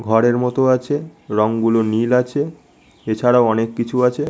ঘরের মতো আছে রংগুলো নীল আছে এছাড়াও অনেক কিছু আছে--